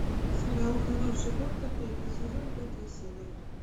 сериал хороший доктор третий сезон пятая серия